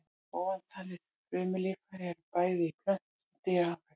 Ofantalin frumulíffæri eru bæði í plöntu- og dýrafrumum.